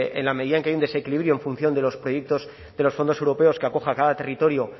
en la medida en que hay un desequilibrio en función de los proyectos de los fondos europeos que acoja a cada territorio o